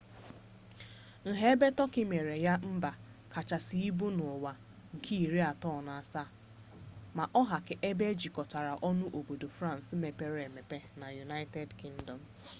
nha ebe tọki mere ya mba kachasị ibu n'ụwa nke iri atọ na asaa ma ọ ha ka ebe e jikọtara ọnụ obodo frans mepere emepe na united kingdom